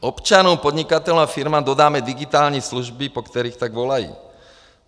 Občanům, podnikatelům a firmám dodáme digitální služby, po kterých tak volají.